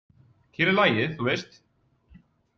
Hér er lagið, þú veist!